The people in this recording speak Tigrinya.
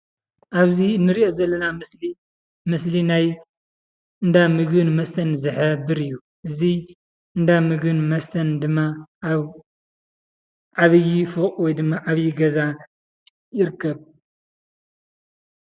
ኣብዚ እንርእዮ ዘለና ምስሊ ምስሊ ናይ እንዳ ምግብን መስተን ዝሕብር እዩ። እዚ እንዳ ምግብን መስተን ድማ ኣብ ዓብይ ፎቕ ወይድማ ዓብይ ገዛ ይርከብ።